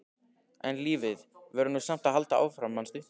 En lífið verður nú samt að halda áfram, manstu!